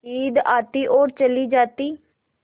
ईद आती और चली जाती